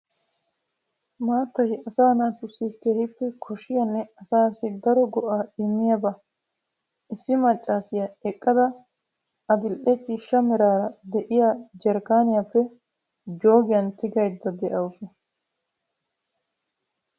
Maattaay asaa naatussi keehippe koshshiyanne asaassi daro go'aa immiyabaa. Issi maccaasiya eqqada adil"e ciishsha meraara de'iya jarkkaaniyappe jooggiyan tigaydda de'anawu.